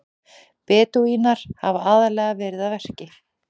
Bedúínar hafa aðallega verið að verki.